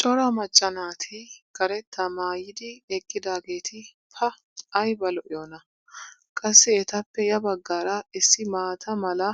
Cora macca naati karettaa maayidi eqqidaageeti pa ayba lo'iyoonaa! Qassi etappe ya bagaara issi maata mala